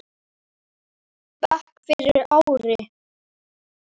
bekk fyrir ári.